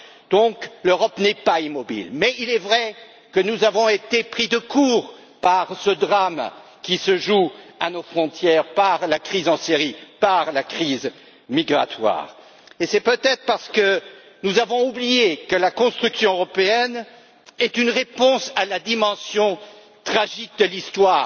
Donc, l'Europe n'est pas immobile. Mais il est vrai que nous avons été pris de court par ce drame qui se joue à nos frontières, par la crise en Syrie, par la crise migratoire, et c'est peut être parce que nous avons oublié que la construction européenne est une réponse à la dimension tragique de l'Histoire,